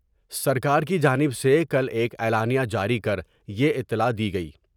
سرکار کی جانب سے کل ایک اعلامیہ جاری کر یہ اطلاع دی گئی ۔